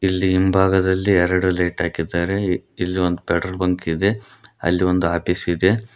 ಇಲ್ಲಿ ಹಿಂಭಾಗದಲ್ಲಿ ಎರಡು ಲೈಟ್ ಹಾಕಿದ್ದಾರೆ ಇಲ್ಲೊಂದ್ ಪೆಟ್ರೋಲ್ ಬಂಕ್ ಇದೆ ಅಲ್ಲಿ ಒಂದು ಆಫೀಸ್ ಇದೆ.